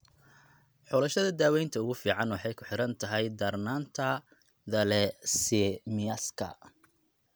Xulashada daawaynta ugu fiican waxay ku xidhan tahay darnaanta thalassaemiaka.